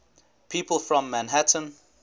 people from manhattan